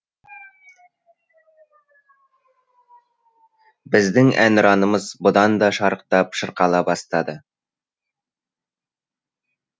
біздің әнұранымыз бұдан да шарықтап шырқала бастады